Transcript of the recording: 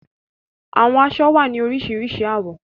Awọn aṣọ wa ni orisirisi awọn awọ